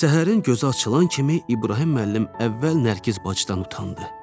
Səhərin gözü açılan kimi İbrahim müəllim əvvəl Nərgiz bacıdan utandı.